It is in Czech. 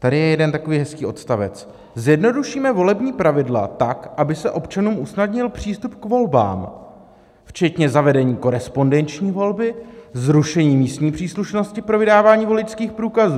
Tady je jeden takový hezký odstavec: "Zjednodušíme volební pravidla tak, aby se občanům usnadnil přístup k volbám, včetně zavedení korespondenční volby, zrušení místní příslušnosti pro vydávání voličských průkazů.